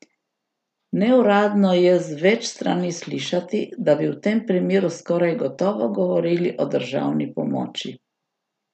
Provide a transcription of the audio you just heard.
Neuradno je z več strani slišati, da bi v tem primeru skoraj gotovo govorili o državni pomoči.